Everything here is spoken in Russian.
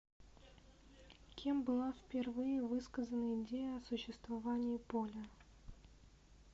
кем была впервые высказана идея о существовании поля